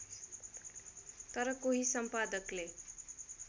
तर कोही सम्पादकले